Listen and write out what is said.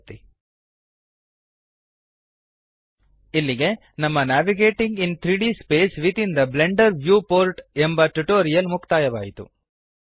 ಇಲ್ಲಿಗೆ ನಮ್ಮ navigating in 3ದ್ space within the Blender viewport navigating in 3ಡಿ space within the Blender viewport ಎಂಬ ಟ್ಯುಟೋರಿಯಲ್ ಮುಕ್ತಾಯವಾಯಿತು